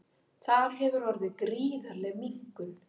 Þar hefur orðið gríðarleg minnkun